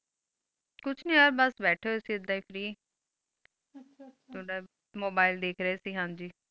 ਕੁਛ ਨਾਈ ਇਹ ਬਸ ਬੈਠੇ ਹੋਏ ਸੀ free ਐਧ ਅਸੀਂ ਥੋੜ੍ਹਾ mobile ਦਿੱਖ ਰੇ ਸੀ ਹਾਂ ਜੀ